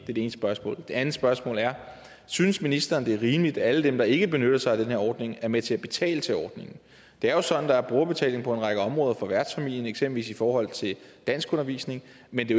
det ene spørgsmål det andet spørgsmål er synes ministeren det er rimeligt at alle dem der ikke benytter sig af den her ordning er med til at betale til ordningen det er jo sådan at der er brugerbetaling på en række områder for værtsfamilien eksempelvis i forhold til danskundervisning men det